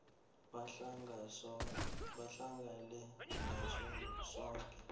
bahlale ngaso soke